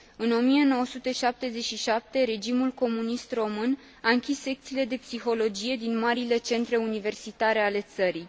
În 1977, regimul comunist român a închis secțiile de psihologie din marile centre universitare ale țării.